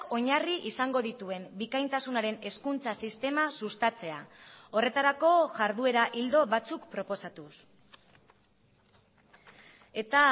oinarri izango dituen bikaintasunaren hezkuntza sistema sustatzea horretarako jarduera ildo batzuk proposatuz eta